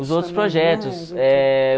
Os outros projetos. Eh...